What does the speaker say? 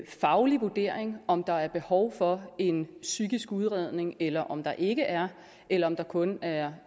faglig vurdering om der er behov for en psykisk udredning eller om der ikke er eller om der kun er